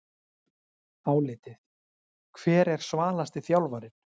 Álitið: Hver er svalasti þjálfarinn?